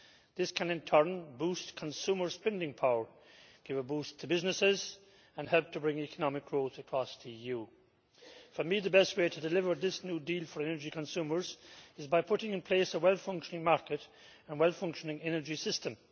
This can in turn boost consumer spending power, give a boost to businesses and help to bring economic growth across the EU. For me, the best way to deliver this new deal for energy consumers is by putting in place a well-functioning market and a well-functioning energy system.